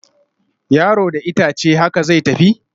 Yaro da itace, haka zai tafi